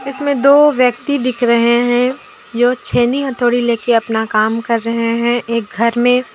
इसमें दो व्यक्ति दिख रहे हैं जो छेनी हथौड़ी लेके अपना काम कर रहे हैं एक घर में--